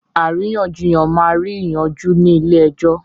Àríyànjiyàn máa rí yí yanjú ni ilẹ̀ èjò